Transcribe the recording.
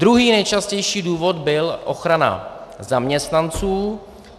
Druhý nejčastější důvod byl ochrana zaměstnanců.